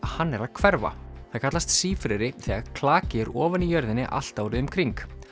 hann er að hverfa það kallast sífreri þegar klaki er ofan í jörðinni allt árið um kring